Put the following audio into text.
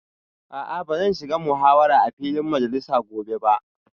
A'a ba zan shiga muhawarar a filin majalisa gobe ba